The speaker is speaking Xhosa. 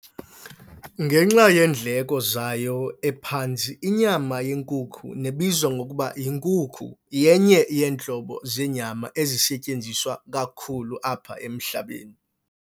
Ngenxa yeendleko zayo ephantsi, inyama yenkukhu nebizwa ngokuba yinkukhu yenye yeentlobo zenyama esetyenziswa kakhulu apha emhlabeni.